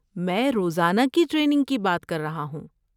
میں روزانہ کی ٹریننگ کی بات کر رہا ہوں۔